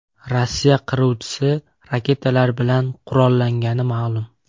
Rossiya qiruvchisi raketalar bilan qurollangani ma’lum.